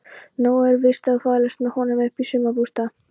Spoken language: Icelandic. Nóg er víst að þvælast með honum upp í sumarbústað.